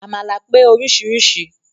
Àmàlà pé oríṣiríṣi